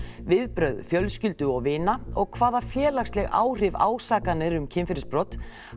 viðbrögð fjölskyldu og vina og hvaða félagsleg áhrif ásakanir um kynferðisbrot